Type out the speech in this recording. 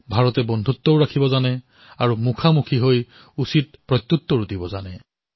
ভাৰতে বন্ধুত্ব পালন কৰিব জানে আৰু চকুত চকু থৈ উচিত প্ৰত্যুত্তৰো দিব জানে